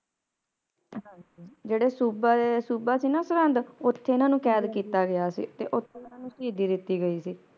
ਜਿਹੜੇ ਸੂਬਾ ਸੂਬਾ ਸੀ ਨਾ ਸਰਹੰਦ ਓਥੇ ਉੱਥੇ ਓਹਨਾ ਨੂੰ ਕੈਦ ਕੀਤਾ ਗਿਆ ਸੀ ਤੇ ਓਥੇ ਸ਼ਹੀਦੀ ਦਿਤੀ ਗਈ ਸੀ